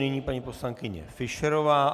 Nyní paní poslankyně Fischerová.